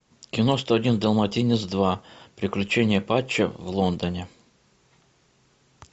кино сто один далматинец два приключения патча в лондоне